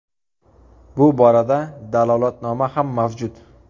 Bu borada dalolatnoma ham mavjud.